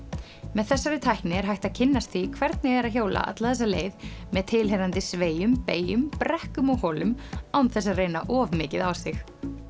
með þessari tækni er hægt að kynnast því hvernig er að hjóla alla þessa leið með tilheyrandi sveigjum beygjum brekkum og holum án þess að reyna of mikið á sig